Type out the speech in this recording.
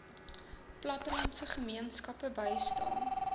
plattelandse gemeenskappe bystaan